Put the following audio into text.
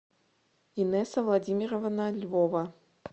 инесса владимировна львова